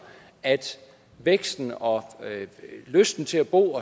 at væksten og lysten til at bo